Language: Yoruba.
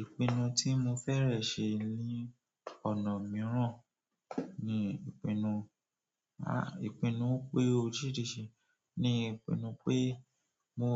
Ìpinnu tí mo fẹ́rẹ̀ ṣe ní ọ̀nà mìíràn ni ìpinnu, a, ìpinnu pé oríṣiríṣi ni ìpinnu pé mo,